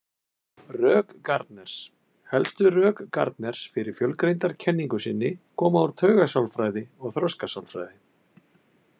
Rök Gardners Helstu rök Gardners fyrir fjölgreindarkenningu sinni koma úr taugasálfræði og þroskasálfræði.